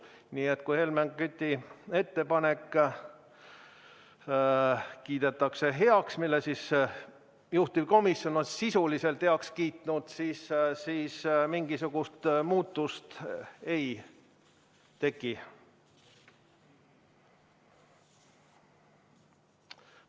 Nii et kui Helmen Küti ettepanek kiidetakse heaks ja juhtivkomisjon on selle sisuliselt ka heaks kiitnud, siis mingisugust muutust ei teki.